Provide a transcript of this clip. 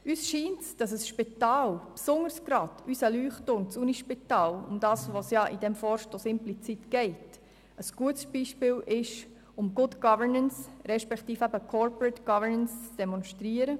Uns scheint es, dass ein Spital, insbesondere unser Leuchtturm, das Universitätsspital, um welches es bei diesem Vorstoss implizit geht, ein gutes Beispiel ist, um Good Governance respektive Corporate Governance zu demonstrieren.